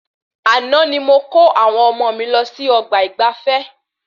Àna ni mo ko àwọn ọmọ mí lọ sí ọgbà ìgbafé